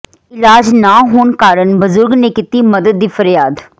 ਇਲਾਜ ਨਾ ਹੋਣ ਕਾਰਨ ਬਜੁਰਗ ਨੇ ਕੀਤੀ ਮਦਦ ਦੀ ਫਰਿਆਦ